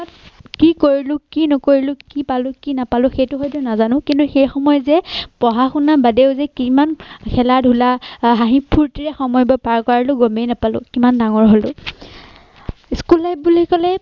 কি কৰিলো কি নকৰিলো কি পালো কি নাপালো সেইটো হয়তো নাজানো কিন্তু সময়ত যে পঢ়া শুনা বাদেও যে কিমান খেলা-ধুলা, হাঁহি-ফুৰ্তিৰে সময়বোৰ পাৰ কৰালো গমেই নাপালো কিমান ডাঙৰ হলো। school life বুলি কলে